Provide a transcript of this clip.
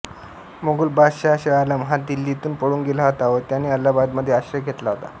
मोगल बादशहा शहाआलम हा दिल्लीतून पळून गेला होता व त्याने अलाहाबादमध्ये आश्रय घेतला होता